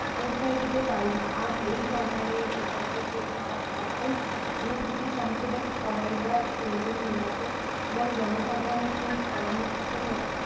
প্রশ্রয় দিতে পারি না আর এই সরকার সরকারকে তাহার সকল ভুল ত্রুটি সংশোধন করাইবার প্রয়োজন হইয়াছে এবং জনসাধারণের সহিত পরামর্শ করিয়া